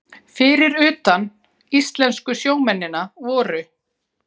Fyrir utan íslensku sjómennina voru